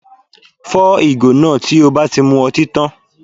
Fọ́ ìgò náà tí o bá ti mu ọtí tá